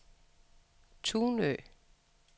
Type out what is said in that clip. Tunø